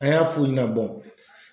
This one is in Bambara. An y'a f'u ɲɛna